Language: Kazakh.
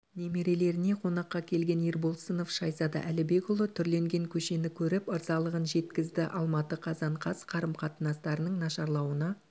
немерелеріне қонаққа келген ерболсынов шайзада әлібекұлы түрленген көшені көріп ырзалығын жеткізді алматы қазан қаз қарым-қатынастарының нашарлауына